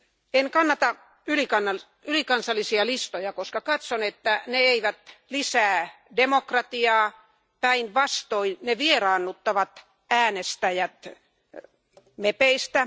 En kannata ylikansallisia listoja, koska katson, että ne eivät lisää demokratiaa, päinvastoin, ne vieraannuttavat äänestäjät mepeistä.